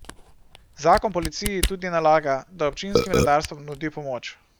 Zakon policiji tudi nalaga, da občinskim redarstvom nudi pomoč.